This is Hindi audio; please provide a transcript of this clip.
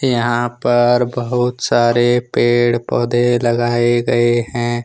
यहां पर बहुत सारे पेड़ पौधे लगाए गए हैं।